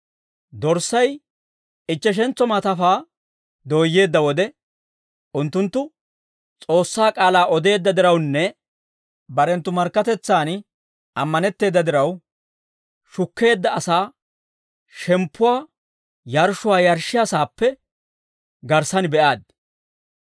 Dorssay ichcheshentso maatafaa dooyyeedda wode, unttunttu S'oossaa k'aalaa odeedda dirawunne barenttu markkatetsan ammanetteeda diraw, shukkeedda asaa shemppuwaa yarshshuwaa yarshshiyaa saappe garssan be'aaddi.